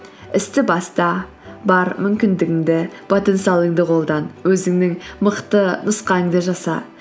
істі баста бар мүмкіндігіңді потенциалыңды қолдан өзіңнің мықты нұсқаңды жаса